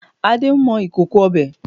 Ade ń mọ ìkòkò ọbẹ̀